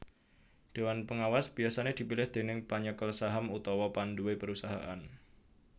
Déwan pengawas biyasané dipilih déning panyekel saham utawa panduwé perusahaan